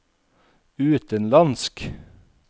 utenlandsk